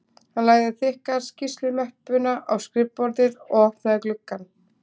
Hann lagði þykka skýrslumöppuna á skrifborðið og opnaði gluggann